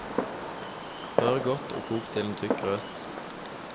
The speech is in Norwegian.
Rør godt og kok til en tykk grøt.